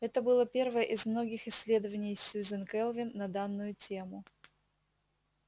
это было первое из многих исследований сюзен кэлвин на данную тему